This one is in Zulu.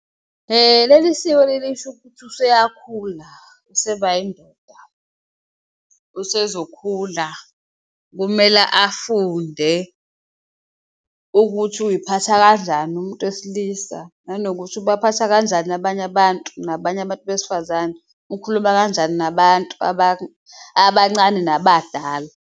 Leli siko leli lisho ukuthi useyakhula useba indoda, usezokhula kumele afunde ukuthi uyiphatha kanjani umuntu wesilisa nanokuthi ubaphatha kanjani abanye abantu, nabanye abantu besifazane, ukhuluma kanjani nabantu abancane nabadala.